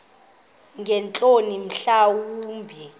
ngeentloni mhla wumbi